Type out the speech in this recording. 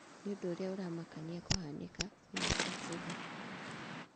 Nĩ ũndũ ũrĩa ũramakania kũhanĩka", Minista kuuga.